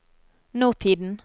nåtiden